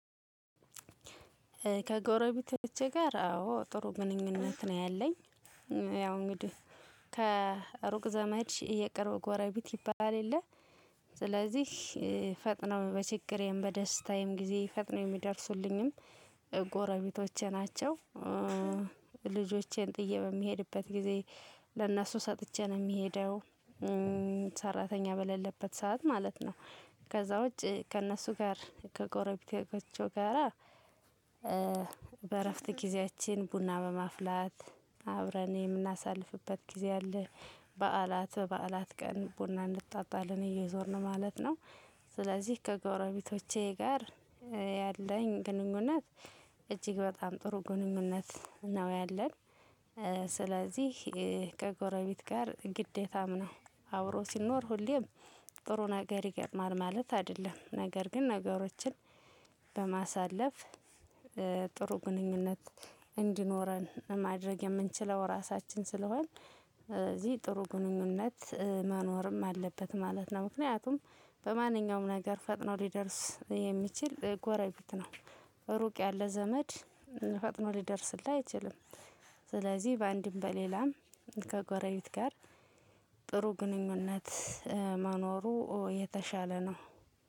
ከጎረቤቶቼ ጋር አዎ ጥሩ ግንኙነት ነው ያለኝ። ያው እንግዲህ ከሩቅ ዘመድ የቅርብ ጎረቤት ይባል የለ። ስለዚህ ፈጥነው በችግሬም በደስታዬም ጊዜ ፈጥነው የሚደርሱልኝም ጎረቤቶቼ ናቸው። ልጆቼን ጥዬ በምሄድበት ጊዜ ለእነሱ ሰጥቼ ነው የምሄደው። ሰራተኛ በሌለበት ሰዓት ማለት ነው። ከዛ ውጭ ከእነሱ ጋር ከጎረቤቴከቾ ጋራ። በእረፍት ጊዜያችን ቡና በማፍላት አብረን የምናሳልፍበት ጊዜ አለ። በዓላት በዓላት ቀን ቡና እንጠጣለን እየዞርን ማለት ነው። ስለዚህ ከጎረቤቶቼ ጋር ያለኝ ግንኙነት እጅግ በጣም ጥሩ ግንኙነት ነው ያለን። ስለዚህ ከጎረቤት ጋር ግዴታም ነው። አብሮ ሲኖር ሁሌም ጥሩ ነገር ይገጥማል ማለት አይደለም ነገር ግን ነገሮችን በማሳለፍ ጥሩ ግንኙነት እንዲኖረን ማድረግ የምንችለው እራሳችን ስለሆንን። እዚህ ጥሩ ግንኙነት መኖርም አለበት ማለት ነው። ምክንያቱም በማንኛውም ነገር ፈጥኖ ሊደርስ የሚችል ጎረቤት ነው። እሩቅ ያለ ዘመድ ፈጥኖ ሊደርስልህ አይችልም። ስለዚህ በአንድም በሌላም ከጎረቤት ጋር ጥሩ ግንኙነት መኖሩ የተሻለ ነው።